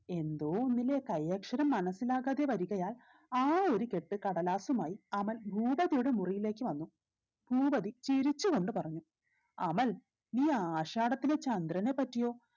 എന്തോ ഒന്നിലെ കൈ അക്ഷരം മനസിലാകാതെ വരികയാൽ ആ ഒരു കെട്ട് കടലാസുമായി അമൽ ഭൂപതിയുടെ മുറിയിലേക്ക് വന്നു ഭൂപതി ചിരിച്ചു കൊണ്ട് പറഞ്ഞു അമൽ നീ ആഷാടത്തിലെ ചന്ദ്രനെ പറ്റിയോ